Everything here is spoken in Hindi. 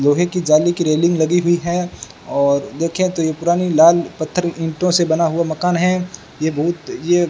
लोहे की जाली की रेलिंग लगी हुई है और देखें तो यह पुरानी लाल पत्थर ईंटों से बना हुआ मकान है यह बहुत यह --